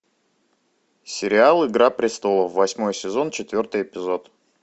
сериал игра престолов восьмой сезон четвертый эпизод